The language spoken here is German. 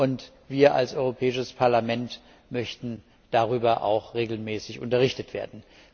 Und wir als Europäisches Parlament möchten darüber auch regelmäßig unterrichtet werden.